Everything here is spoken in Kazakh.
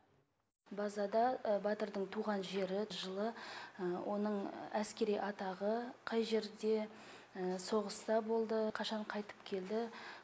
базада батырдың туған жері жылы оның әскери атағы қай жерде соғыста болды қашан қайтып келді